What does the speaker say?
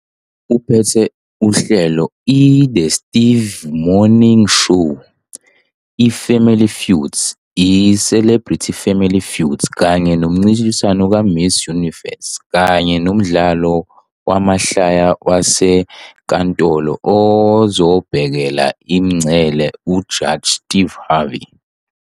Uphethe uhlelo i- "The Steve Harvey Morning Show", i- "Family Feud", i- "Celebrity Family Feud" kanye nomncintiswano ka- Miss Universe, kanye nomdlalo wamahlaya wasenkantolo ozobhekela imingcele, "uJaji Steve Harvey".